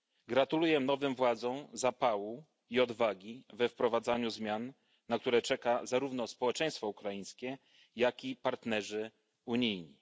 Gratuluję nowym władzom zapału i odwagi we wprowadzaniu zmian, na które czeka zarówno społeczeństwo ukraińskie, jak i partnerzy unijni.